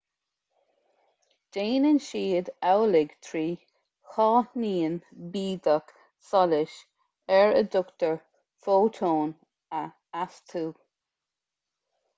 déanann siad amhlaidh trí cháithnín bídeach solais ar a dtugtar fótón a astú